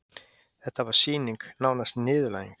Þetta var sýning, nánast niðurlæging.